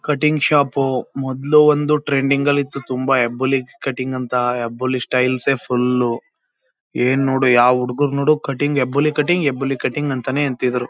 Cutting shop ಮೊದಲು ಒಂದು trending ನಲ್ಲಿತ್ತು ತುಂಬಾ ಹೆಬ್ಬುಲಿ ಕಟಿಂಗ್ ಅಂತ. ಹೆಬ್ಬುಲಿ ಸ್ಟೈಲ್ಸ್ ಏ ಫುಲ್ .ಏನು ನೋಡು ಯಾವ ಹುಡುಗರನ್ನು ನೋಡು cutting Hebbuli cutting Hebbuli cutting ಅಂತಾನೆ ಅಂತಿದ್ರು.